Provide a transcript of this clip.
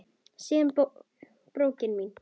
Síða brókin mín!